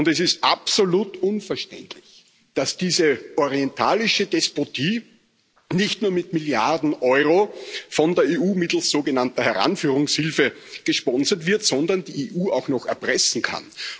Und es ist absolut unverständlich, dass diese orientalische Despotie nicht nur mit Milliarden Euro von der EU mittels sogenannter Heranführungshilfe gesponsert wird, sondern die EU auch noch erpressen kann.